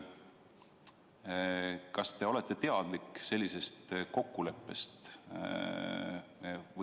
Kas te olete teadlik sellisest kokkuleppest?